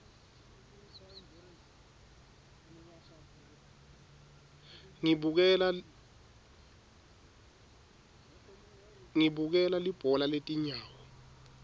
ngibukela libhola letinyawo